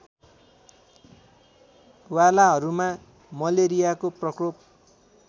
वालाहरूमा मलेरियाको प्रकोप